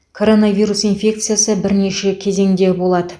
коронавирус инфекциясы бірнеше кезеңде болады